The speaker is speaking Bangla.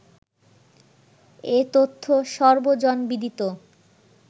এ-তথ্য সর্বজনবিদিত